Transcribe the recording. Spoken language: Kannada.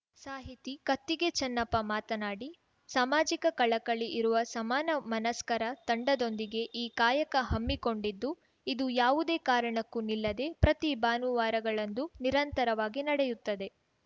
ಸಾಹಿತಿ ಕತ್ತಿಗೆ ಚೆನ್ನಪ್ಪ ಮಾತನಾಡಿ ಸಮಾಜಿಕ ಕಳಕಳಿ ಇರುವ ಸಮಾನ ಮನಸ್ಕರ ತಂಡದೊಂದಿಗೆ ಈ ಕಾಯಕ ಹಮ್ಮಿಕೊಂಡಿದ್ದು ಇದು ಯಾವುದೇ ಕಾರಣಕ್ಕೂ ನಿಲ್ಲದೇ ಪ್ರತಿ ಭಾನುವಾರಗಳಂದು ನಿರಂತರವಾಗಿ ನಡೆಯುತ್ತದೆ